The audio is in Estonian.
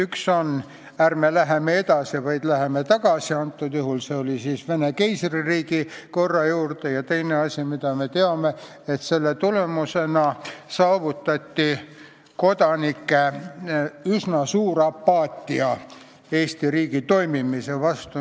Üks oli see, et ärme läheme edasi, vaid läheme tagasi – antud juhul siis Vene keisririigi korra juurde –, ja teine asi, mida me teame, oli see, et selle tulemusena saavutati kodanike üsna suur apaatia Eesti riigi toimimise vastu.